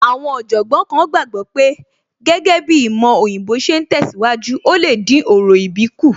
Àwọn Ọ̀jọ̀gbọ́n kan gbàgbọ́ pé gẹ́gẹ́ bíi ìmọ̀ òyìnbó ṣe ń tẹ̀síwájú, ò lè dín orò ìbí kù